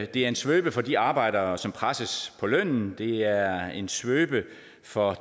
det er en svøbe for de arbejdere som presses på lønnen det er en svøbe for